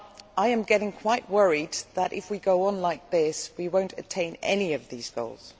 I am getting quite worried that, if we go on like this, we will not attain any of these goals.